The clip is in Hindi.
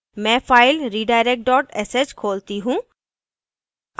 मैं file redirect dot sh खोलती हूँ